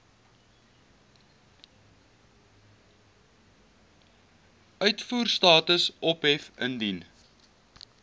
uitvoerstatus ophef indien